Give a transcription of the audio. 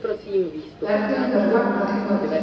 Hvernig verður fagnað í kvöld?